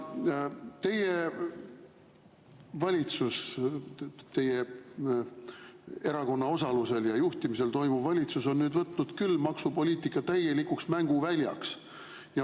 Teie valitsus, teie erakonna osalusel ja juhtimisel tegutsev valitsus, on küll võtnud maksupoliitika täielikuks mänguväljaks.